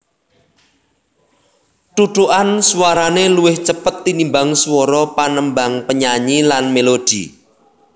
Thuthukan swarané luwih cepet tinimbang swara panembang penyanyi lan mélodi